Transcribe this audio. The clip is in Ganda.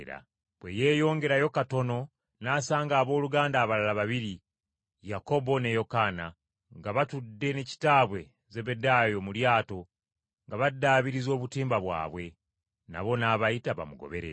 Bwe yeeyongerayo katono, n’asanga abooluganda abalala babiri: Yakobo, ne Yokaana, nga batudde ne kitaabwe Zebbedaayo mu lyato nga baddaabiriza obutimba bwabwe, nabo n’abayita bamugoberere.